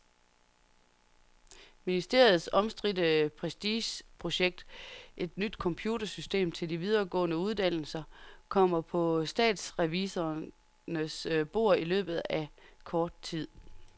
Ministeriets omstridte prestigeprojekt, et nyt computersystem til de videregående uddannelser, kommer på statsrevisorernes bord i løbet af kort tid.